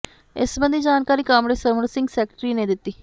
ਇਸ ਸਬੰਧੀ ਜਾਣਕਾਰੀ ਕਾਮਰੇਡ ਸਰਵਨ ਸਿੰਘ ਸੈਕਟਰੀ ਨੇ ਦਿੱਤੀ